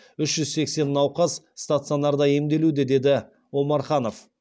үш жүз сексен науқас стационарда емделуде деді омарханов